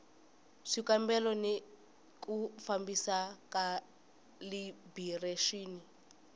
swikambelo ni ku fambisa khalibirexini